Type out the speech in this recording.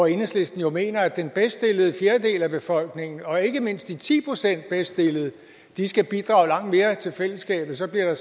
enhedslisten mener jo at den bedst stillede fjerdedel af befolkningen og ikke mindst de ti procent bedst stillede skal bidrage langt mere til fællesskabet så bliver